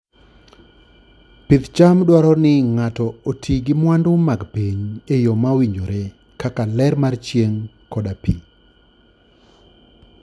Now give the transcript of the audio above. Pidh cham dwaro ni ng'ato oti gi mwandu mag piny e yo mowinjore, kaka ler mar chieng' koda pi.